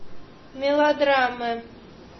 мелодрамы